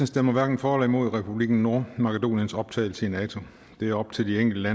stemmer hverken for eller imod republikken nordmakedoniens optagelse i nato det er op til de enkelte